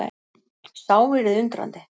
Sá yrði undrandi!